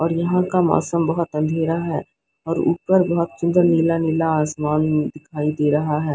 और यहां का मौसम बहोत अंधेरा है और ऊपर बहोत सुंदर नीला नीला आसमान दिखाई दे रहा है।